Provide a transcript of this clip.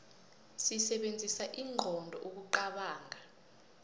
sisebenzisa inqondo ukuqobonga